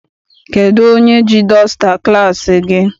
Kedụ onye ji dọsta klassi gị?